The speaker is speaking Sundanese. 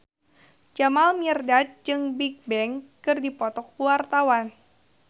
Jamal Mirdad jeung Bigbang keur dipoto ku wartawan